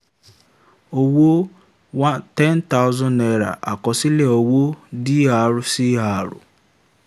owó um ten thousand naira àkọsílẹ̀ owó dr cr